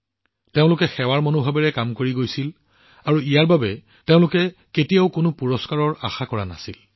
তেওঁলোকে ভক্তিপূৰ্ণভাৱে তেওঁলোকৰ কামত ব্যস্ত আছিল আৰু ইয়াৰ বাবে কেতিয়াও কোনো বঁটাৰ আশা কৰা নাছিল